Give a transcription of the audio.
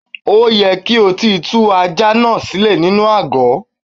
Ó yẹ kí o ti tú ajá náà sílè nínú àgò.